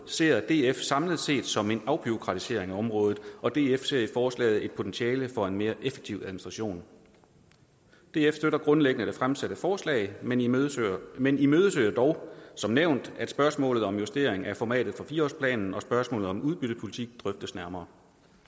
ser df samlet set som en afbureaukratisering af området og df ser i forslaget et potentiale for en mere effektiv administration df støtter grundlæggende det fremsatte forslag men imødeser men imødeser dog som nævnt at spørgsmålet om justering af formatet for fire årsplanen og spørgsmålet om udbyttepolitik drøftes nærmere